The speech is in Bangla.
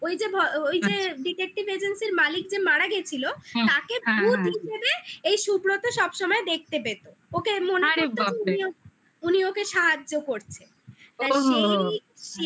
ওই যে ওই যে আচ্ছা detective agency -র মালিক যে মারা গেছিলো হুম হ্যাঁ হ্যাঁ হিসাবে তাকে ভূত হিসাবে এই সুব্রত সব সময় দেখতে পেতো আরি বাপরে উনি ওকে সাহায্য করছে ওহো